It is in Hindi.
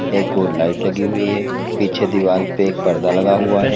एक ओर लाइट लगी हुई है पीछे दीवाल पर एक पर्दा लगा हुआ है।